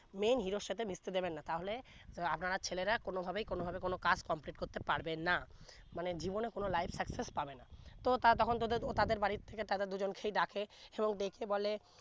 main hero সাথে মিশতে দিবেন না তা হলে আটানার ছেলেরা কোন ভাবেই কোন ভাবে কোন কাজ complete করতে পারবে না মানে জীবনে কোন life success পাবে না তো তা তখন তাদের বাড়ি থেকে তাদের দু জন সে ডাকে এবং ডেকে বলে